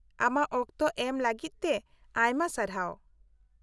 -ᱟᱢᱟᱜ ᱚᱠᱛᱚ ᱮᱢ ᱞᱟᱹᱜᱤᱫᱛᱮ ᱟᱭᱢᱟ ᱥᱟᱨᱦᱟᱣ ᱾